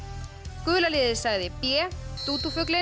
gula liðið sagði b